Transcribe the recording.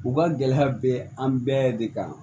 U ka gɛlɛya bɛ an bɛɛ de kan